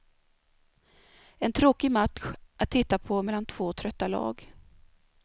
En tråkig match att titta på mellan två trötta lag.